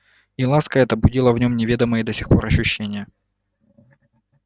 и ласка эта будила в нём неведомые до сих пор ощущения